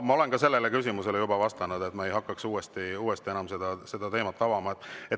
Ma olen ka sellele küsimusele juba vastanud, ma ei hakkaks uuesti enam seda teemat avama.